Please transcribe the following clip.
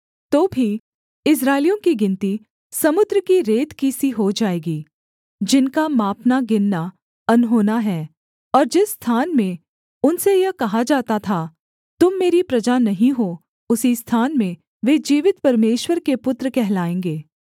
तो भी इस्राएलियों की गिनती समुद्र की रेत की सी हो जाएगी जिनका मापनागिनना अनहोना है और जिस स्थान में उनसे यह कहा जाता था तुम मेरी प्रजा नहीं हो उसी स्थान में वे जीवित परमेश्वर के पुत्र कहलाएँगे